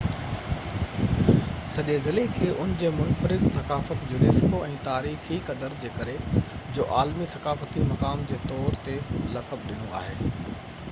سڄي ضلعي کي ان جي منفرد ثقافت ۽ تاريخي قدر جي ڪري unesco جو عالمي ثقافتي مقام جي طور تي لقب ڏنو آهي